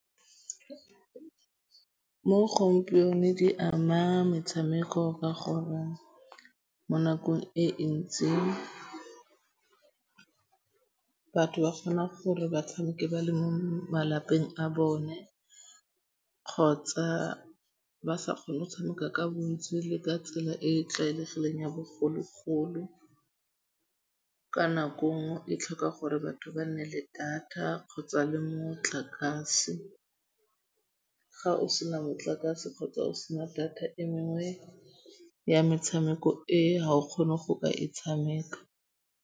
Mo gompienong di ama metshameko ka gore mo nakong e ntsi batho ba kgona gore ba tshameke ba le mo malapeng a bone kgotsa ba sa kgone go tshameka ka bontsi le ka tsela e e tlwaelegileng ya bogologolo. Ka nako nngwe e tlhoka gore batho ba nne le data kgotsa le motlakase. Ga o sena motlakase kgotsa o sena data e mengwe ya metshameko e ga o kgone go ka e tshameka.